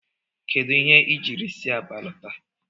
Kedu ihe i jiri si Aba lọta?